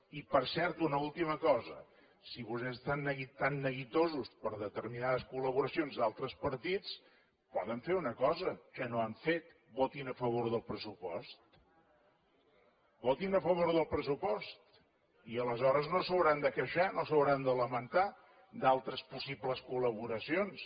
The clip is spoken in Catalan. i per cert una última cosa si vostès estan tan neguitosos per determinades col·laboracions d’altres partits poden fer una cosa que no han fet votin a favor del pressupost votin a favor del pressupost i aleshores no s’hauran de queixar no s’hauran de lamentar d’altres possibles col·laboracions